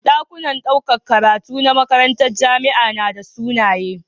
Dakunan ɗaukar karatu na makarantar jamia nada sunaye